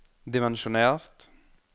dimensjonert